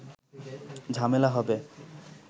ঝামেলা হবে